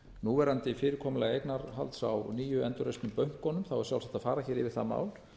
núverandi fyrirkomulag eignarhalds á nýju endurreistu bönkunum er sjálfsagt að fara hér yfir það mál